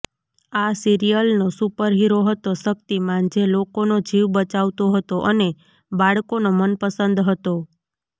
આ સિરિયલ નો સુપરહીરો હતો શક્તિમાન જે લોકોનો જીવ બચાવતો હતો અને બાળકોનો મનપસંદ હતો